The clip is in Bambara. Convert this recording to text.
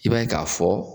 I b'a ye k'a fɔ